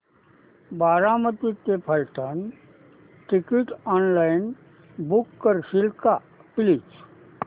बारामती ते Phaltan ticket online book करशील का प्लीज